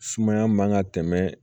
Sumaya man ka tɛmɛ